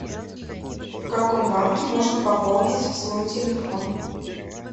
в каком банке можно пополнить свой телефон